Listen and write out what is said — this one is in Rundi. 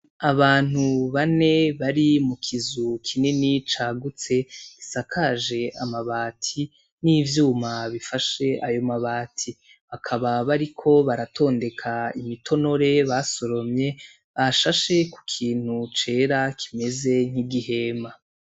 Abantu bane bari mu kizu kinini cagutse gisakaje amabati, n'ivyuma bifashe ayo mabati, bakaba bariko baratondeka imitonore basoromye bashashe ku kintu cera kimeze nk'igihema.